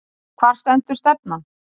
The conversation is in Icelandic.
Hvar stendur stefnan?